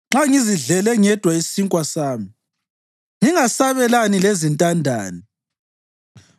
nxa ngizidlele ngedwa isinkwa sami, ngingasabelani lezintandane,